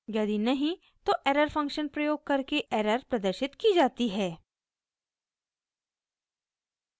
यदि नहीं तो error फंक्शन प्रयोग करके एरर प्रदर्शित की जाती है